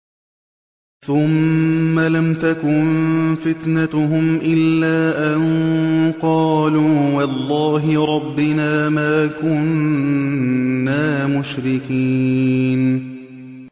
ثُمَّ لَمْ تَكُن فِتْنَتُهُمْ إِلَّا أَن قَالُوا وَاللَّهِ رَبِّنَا مَا كُنَّا مُشْرِكِينَ